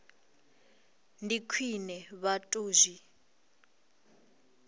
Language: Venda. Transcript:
ndi khwine vha tou zwi